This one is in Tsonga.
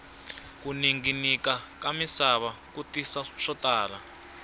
ku ninginika ka misava ku tisa swo tala